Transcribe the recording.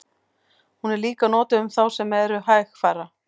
hún er líka notuð um þá sem eru hægfara